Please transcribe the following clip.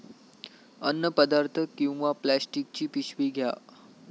अन्नपदार्थ किंवा प्लास्टिकची पिशवी घ्या.